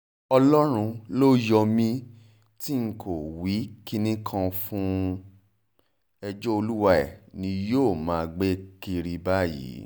ọlọ́run ló yọ mí tí n kò wí kinní kan fún un ẹjọ́ olúwae ni yóò máa gbé kiri báyìí